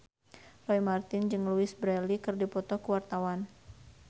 Roy Marten jeung Louise Brealey keur dipoto ku wartawan